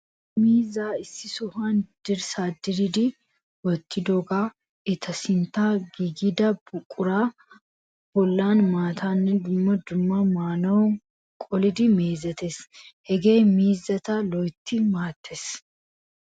Miizzaa issi sohuwan dirssaa diridi wottidoogan eta sinttan giigida buquraa bollan maataanne dumma dumma mannuwa qolidi mizeettees. Hegee miizzaa loyttidi maattees.